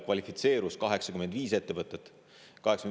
Kvalifitseerus 85 ettevõtet.